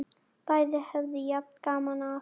Bæði höfðu jafn gaman af!